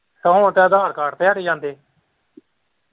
ਤੇ ਹੁਣ ਤੇ ਅਧਰ ਕਾਰਡ ਤੇ ਖਰੇ ਜਾਂਦੇ।